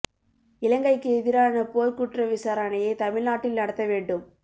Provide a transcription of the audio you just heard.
இலங்கைக்கு எதிரான போர்க் குற்ற விசாரணையை தமிழ் நாட்டில் நடத்த வேண்டும்